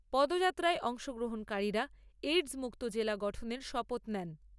পদযাত্রায় অংশগ্রহণকারীরা এইডস মুক্ত জেলা গঠনের শপথ নেন।